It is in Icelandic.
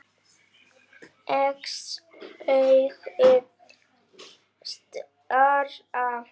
Sex augu stara.